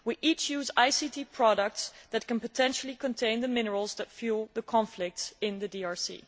We all use ICT products that potentially contain the minerals that fuel the conflicts in the DRC.